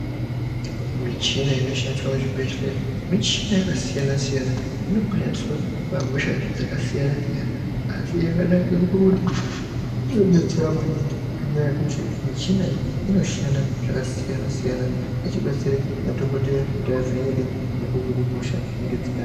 Michina iñoshandiswa muzhibhedhleya michina yakasiyana siyana inoba shandiswa pahosha dzakasiyana siyana asi yakanaka pakuti inodetsera maningi ngenyaya yekuti muchina iyi inoshanda zvakasiyana siyana ichibatsire madhokodheya kuti avheneke nekuhine hosha dzinenge dzinaana.....